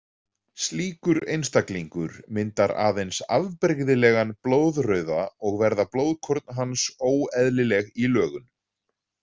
Slíkur einstaklingur myndar aðeins afbrigðilegan blóðrauða og verða blóðkorn hans óeðlileg í lögun.